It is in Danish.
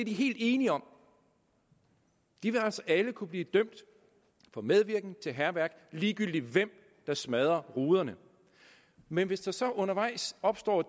helt enige om de vil altså alle kunne blive dømt for medvirken til hærværk ligegyldigt hvem der smadrer ruderne men hvis der så undervejs opstår